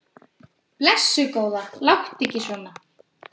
Blessuð góða, láttu ekki svona.